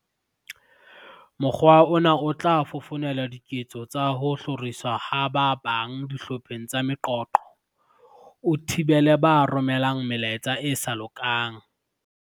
"Mokgwa ona o tla fofonela diketso tsa ho hloriswa ha ba bang dihlopheng tsa meqoqo, o thibele ba romelang melaetsa e sa lokang."